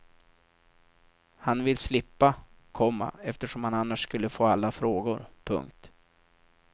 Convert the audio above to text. Han vill slippa, komma eftersom han annars skulle få alla frågor. punkt